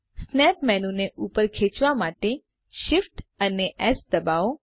snap menu ને ઉપર ખેચેવા માટે shift અને એસ દબાવો